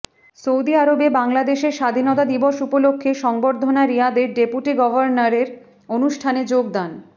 Saudi আরবে বাংলাদেশের স্বাধীনতা দিবস উপলক্ষে সংবর্ধনা রিয়াদের ডেপুটি গভর্নরের অনুষ্ঠানে যোগদান